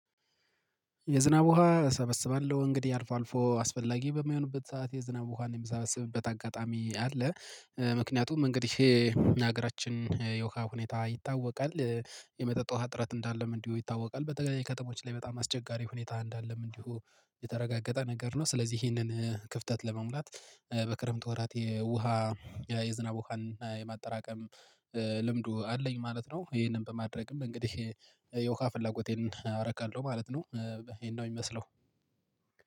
የዝናብ ውሃ እሰበስባለሁ እንግዲህ አልፎ አልፎ አስፈላጊ በሚሆንበት ሰዓት የዝናብ ውሃን የምሰበስብበት አጋጣሚ አለ። ምክንያቱም እንግዲህ የሀገራችን የውሃ ሁኔታ ይታወቃል የመጠጥ ውሃ እጥረት እንዳለም እንዲሁ ይታወቃል በተገናኘ ከተሞች ላይ በጣም አስቸጋሪ ሁኔታ እንዳለም እንዲሁ የተረጋገጠ ነገር ነው። ስለዚህ ይሄንን ክፍተት ለመሙላት በክረምት ወራት የውሃ የዝናብ ውሃን የማጠራቀም ልምዱ አለኝ ማለት ነው። ይሄንን በማድረግም እንግዲህ የውሃ ፍላጎቴን አርካለሁ ማለት ነው። ይሄን ነው የሚመስለው